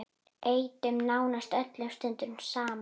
Eyddum nánast öllum stundum saman.